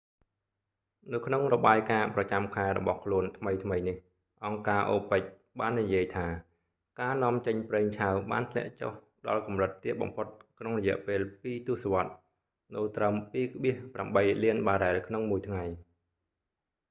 នៅក្នុងរបាយការណ៍ប្រចាំខែរបស់ខ្លួនថ្មីៗនេះ អង្គការ opec បាននិយាយថា ការនាំចេញប្រេងឆៅបានធ្លាក់ចុះដល់កម្រិតទាបបំផុតក្នុងរយៈពេលពីរទសវត្សរ៍ នៅត្រឹម 2,8 លានបារ៉ែលក្នុងមួយថ្ងៃ